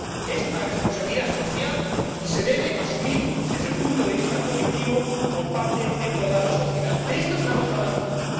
Es una responsabilidad social y se debe asumir desde el punto de vista colectivo por parte de toda la sociedad. De esto estamos hablando hoy.